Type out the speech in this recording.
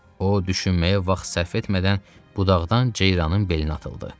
O düşünməyə vaxt sərf etmədən budaqdan ceyranın belinə atıldı.